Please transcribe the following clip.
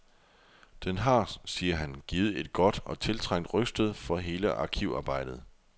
Den har, siger han, givet et godt og tiltrængt rygstød for hele arkivarbejdet.